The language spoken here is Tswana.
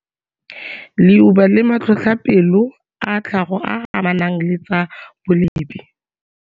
Leuba le matlhotlhapelo a tlhago a a amanang le tsa bolepi.